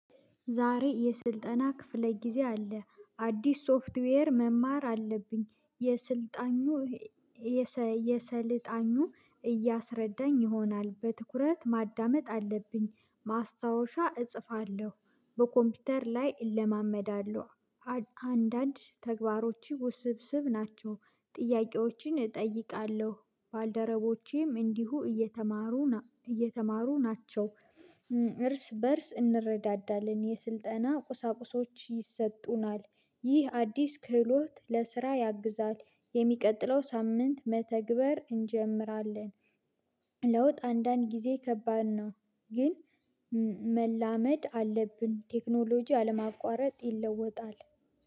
ዛሬ የስልጠና ክፍለ ጊዜ አለ። አዲስ ሶፍትዌር መማር አለብኝ። የስልጣኙ አሰልጣኙ እያስረዳኝ ይሆናል በትኩረት ማዳመጥ አለብኝ። ማስታወሻ እጽፋለሁ በኮምፒውተር ላይ እለማመዳለሁ። አንዳንድ ተግባሮች ውስብስብ ናቸው። ጥያቄዎችን እጠይቃለሁ ባልደረቦቼም እንዲሁ እየተማሩ በእርስ እንረዳዳለን የስልጠና ቁሳቁሶች ይሰጡናል። ይህ አዲስ ክህሎት ለስራ ያግዛል። የሚቀጥለው ሳምንት መተግበር እንጀምራለን። ለውጥ አንዳንድ ጊዜ ከባድ ነው። ግን መላመድ አለብን ቴክኖሎጂ አለማቋረጥ ይለወጣል።